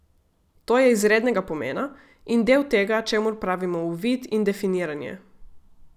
To je izrednega pomena in del tega, čemur pravimo uvid in definiranje.